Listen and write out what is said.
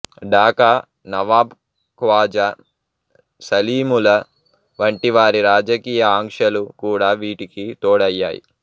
ఢాకా నవాబ్ ఖ్వాజా సలీముల్లా వంటివారి రాజకీయ ఆకాంక్షలు కూడా వీటికి తోడయ్యాయి